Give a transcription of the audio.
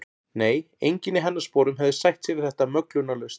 Nei, enginn í hennar sporum hefði sætt sig við þetta möglunarlaust.